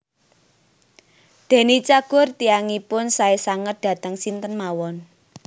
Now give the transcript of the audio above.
Deny Cagur tiyangipun sae sanget dateng sinten mawon